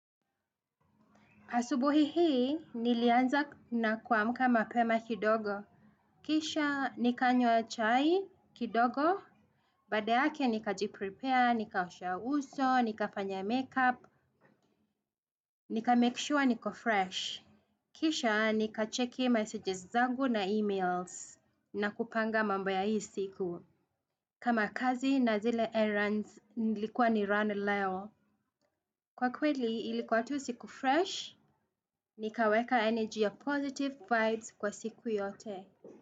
Asubuhi hii, nilianza na kuamka mapema kidogo. Kisha, nikanywa chai kidogo. Baada yake nikajiprepare, nikaosha uso, nikafanya make up, nikamake sure niko fresh. Kisha, nika checki messages zangu na emails na kupanga mambo ya hii siku. Kama kazi na zile errands nilikuwa ni run leo. Kwa kweli ilikuwa tu siku fresh, nikaweka energy ya positive vibes kwa siku yote.